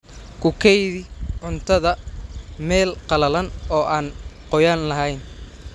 Ku kaydi cuntada meel qalalan oo aan qoyaan lahayn.